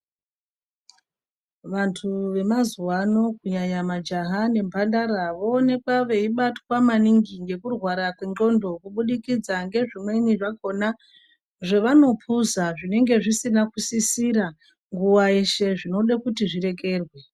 Vantu vemazuwa ano kunyanya majaha nembandara voonekwa veibatwa maningi ngekurwara ngekurwara kwendxondo kubudikidza ngezvimweni zvakona zvevanopuza zvinenge zvisina kusisira nguwa yeshe, zvinode kuti zvirekerwe.